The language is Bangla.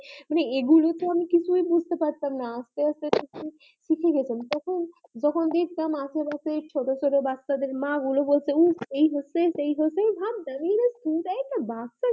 মানে এগুলো তো আমি কিছুই বুজতে পারতাম না আস্তে আস্তে সিখে যেতাম তখন যখন ছোট ছোট বাচ্চা দের মা গুলো বলছে এই হয়েছে সেই হয়েছে আমি ভাবতাম তাই না